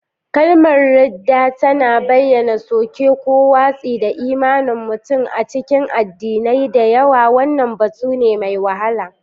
Kalmar “ridda” tana bayyana soke ko watsi da imanin mutum; a cikin addinai da yawa, wannan batu ne mai wahala.